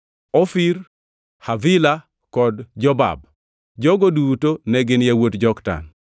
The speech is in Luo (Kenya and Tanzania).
Ofir, Havila kod Jobab. Jogo duto ne gin yawuot Joktan.